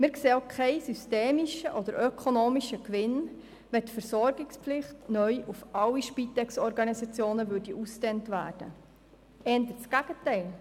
Wir sähen auch keinen systemischen oder ökonomischen Gewinn, wenn die Versorgungspflicht neu auf alle Spitex-Organisationen ausgedehnt würde, im Gegenteil: